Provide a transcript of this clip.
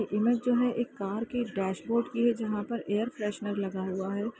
ये इमेज जो है एक कार के डेशबोर्ड की है जहां पर एयर फ्रेशनर लगा हुआ है।